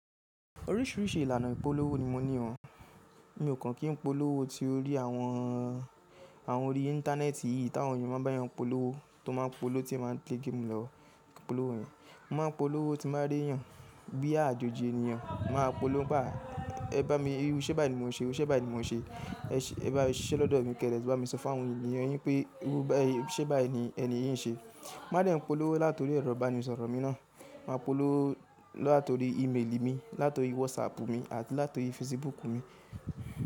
Oríṣìíríṣìí ìlànà ìpolówó ni mo ní oo Mi ò kàn kí n polówó tí orí àwọn, àwọn orí íńtánẹ́ẹ̀tì yìí táwọn èèyàn máa ń bá yàn polówó tó máa ń polowó tí ẹ máa ń tẹ́ gẹ̀ẹ́mù lọ polówó yẹn. Mo máa ń polówó tí n ba rí èèyàn bí àjòjì èniyàn. Màá polowó báa, ẹ bá mi, iru iṣe bá ní mo ṣe ẹ, ṣe bá ní mo ṣe, ẹ ṣe bá ẹ ṣe lọ́dọ̀ mi kéré ẹ bá mi sọ fún àwọn èèyàn yín pé irú bá yii ṣe bá ní ẹni yí ń ṣe. Màá de n polówó látọ̀rí ẹrọ́ ibanísọ̀rọ̀ mi náà. Màá polówó látọ̀rí íméèlì mi, látọ̀rí wọsáàpù mi àti látọ̀rí fesibúùkù mi.